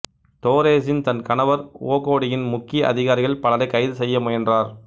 தோரேசின் தன் கணவர் ஓகோடியின் முக்கிய அதிகாரிகள் பலரைக் கைது செய்ய முயன்றார்